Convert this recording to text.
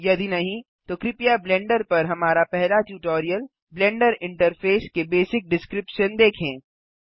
यदि नहीं तो कृपया ब्लेंडर पर हमारा पहला ट्यूटोरियल ब्लेंडर इंटरफ़ेस के बेसिक डिस्क्रिप्शन देखें